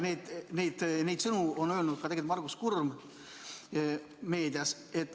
Seda on öelnud meedias ka Margus Kurm.